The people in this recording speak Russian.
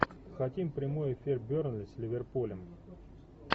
хотим прямой эфир бернли с ливерпулем